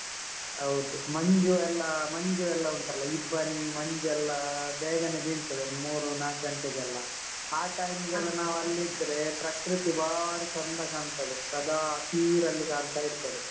ಹೌದು, ಮಂಜು ಎಲ್ಲ ಮಂಜು ಎಲ್ಲ ಉಂಟಲ್ಲ ಇಬ್ಬನಿ ಮಂಜೆಲ್ಲ ಬೇಗನೆ ಬೀಳ್ತದೆ ಒಂದು ಮೂರೂ ನಾಲ್ಕು ಘಂಟೆಗೆಲ್ಲ ಆ time ಗೆಲ್ಲ ನಾವಲ್ಲಿದ್ರೆ ಪ್ರಕೃತಿ ಬಾರಿ ಚೆಂದ ಕಾಣ್ತದೆ ಸದಾ ಹಸಿರಲ್ಲಿ ಕಾಣ್ತಾ ಇರ್ತದೆ.